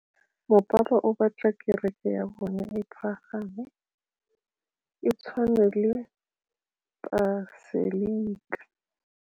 Mopapa o batla kereke ya bone e pagame, e tshwane le paselika.